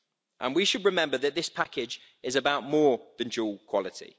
And we should remember that this package is about more than dual quality.